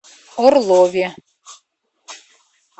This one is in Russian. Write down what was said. орлове